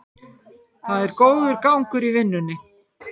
Það er góður gangur í vinnunni